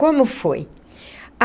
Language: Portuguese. Como foi?